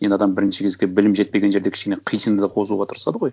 енді адам бірінші кезекте білім жетпеген жерде кішкене қисынды қозуға тырысады ғой